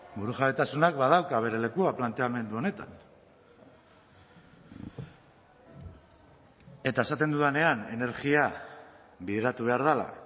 burujabetasunak badauka bere lekua planteamendu honetan eta esaten dudanean energia bideratu behar dela